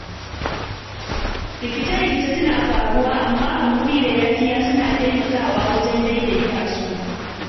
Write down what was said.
Rikice-rikice suna faruwa, amma hakuri da yafiya suna taimakawa wajen daidaita su.